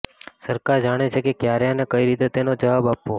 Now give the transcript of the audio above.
સરકાર જાણે છે કે ક્યારે અને કઈ રીતે તેનો જવાબ આપવો